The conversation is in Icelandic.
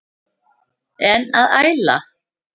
En að æla?